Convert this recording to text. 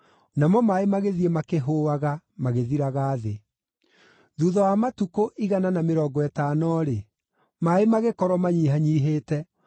Namo maaĩ magĩthiĩ makĩhũũaga, magĩthiraga thĩ. Thuutha wa matukũ igana na mĩrongo ĩtano-rĩ, maaĩ magĩkorwo manyihanyiihĩte,